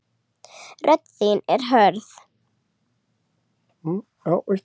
Rödd þín er hörð.